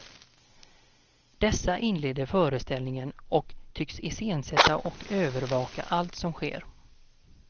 Dessa inleder föreställningen och tycks iscensätta och övervaka allt som sker.